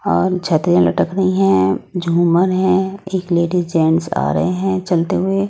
औल छतरीया लटक रहे है झूमर है एक लेडीस जेंट्स आ रहे है चलते हुए।